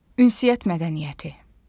Ünsiyyət mədəniyyəti.